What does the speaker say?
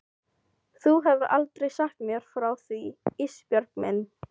Þú hefur aldrei sagt mér frá því Ísbjörg mín.